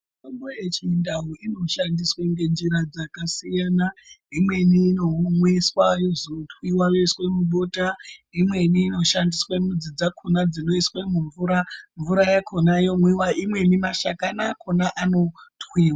Mitombo yechindau inoshandiswa ngenjira dzakasiyana, imweni inomwiswa yozotwiwa yoiswa mubota, imweni inoshandiswa mizi dzakhona dzinoiswa mumvura mvura yakhona yomwiwa imweni mashakani akhona anotwi.